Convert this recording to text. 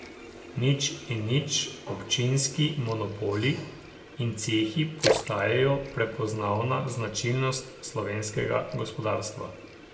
Nič in nič, občinski monopoli in cehi postajajo prepoznavna značilnost slovenskega gospodarstva.